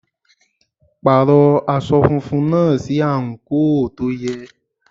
Pàrọ̀ aṣọ funfun náà sí àǹkóò tó yẹ.